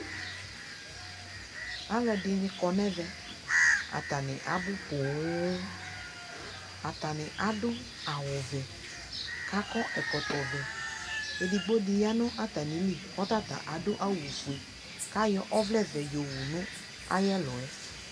alo ɛdi ni kɔ no ɛvɛ atani abo ponŋ, atani ado awu vɛ ko akɔ ɛkɔtɔ vɛ edigbo di ya no atami li ko ɔta ta ado awu ofue ko ayɔ ɔvɛ vɛ yɔ owu no ayi ɛluɛ